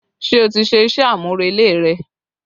Ṣé o ti ṣe iṣẹ́ amurele rẹ